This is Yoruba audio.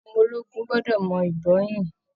Ọmọ ológun gbọ́dọ̀ mọ ìbọn yìn